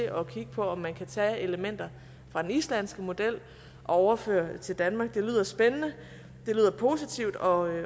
at kigge på om man kan tage elementer fra den islandske model og overføre til danmark det lyder spændende det lyder positivt og